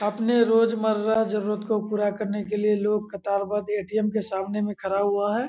अपने रोजमर्रा जरूरत को पूरा करने के लिए लोग कतारबद्ध ए.टी.एम. के सामने मे खड़ा हुआ है।